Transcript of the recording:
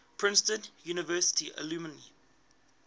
princeton university alumni